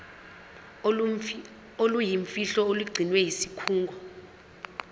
oluyimfihlo olugcinwe yisikhungo